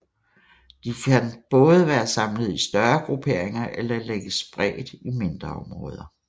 De kan både være samlet i større grupperinger eller ligge spredt i mindre områder